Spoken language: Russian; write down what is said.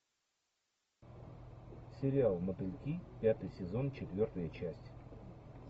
сериал мотыльки пятый сезон четвертая часть